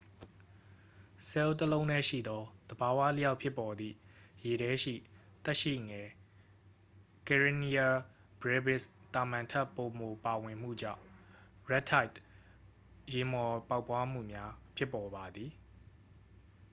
ဆဲလ်တစ်လုံးတည်းရှိသော သဘာဝအလျောက် ဖြစ်ပေါ်သည့် ရေထဲရှိ သက်ရှိငယ် karenia brevis သာမန်ထက် ပိုမိုပါဝင်မှုကြောင့် red tideရေမှော်ပေါက်ဖွားမှုများ ဖြစ်ပေါ်ပါသည်။